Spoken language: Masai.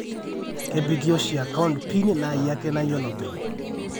kepiki oshi account pin na iyie ake nayolo openy